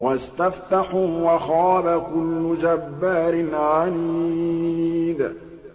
وَاسْتَفْتَحُوا وَخَابَ كُلُّ جَبَّارٍ عَنِيدٍ